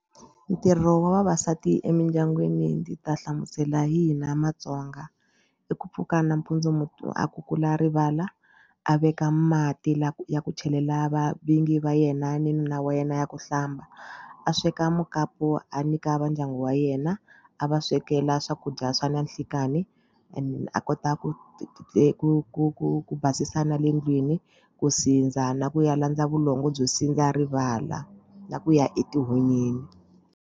Ntirho wa vavasati emindyangwini ndzi ta hlamusela hi hina matsonga i ku pfuka nampundzu munhu a kukula rivala a veka mati la ya ku chelela va va vingi va yena ni nuna wa yena ya ku hlamba a sweka mukapu a nyika vandyangu wa yena a va swekela swakudya swa nanhlikani and a kota ku ku ku ku basisa na le ndlwini ku sindza na ku ya landza vulongo bya sindza rivala na ku ya etihunyini.